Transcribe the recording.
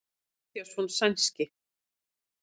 Jón Matthíasson sænski.